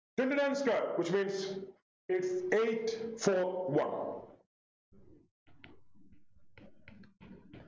twenty nine square which means eight eight four one